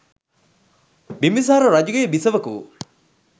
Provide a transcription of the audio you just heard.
බිම්බිසාර රජුගේ බිසවක වූ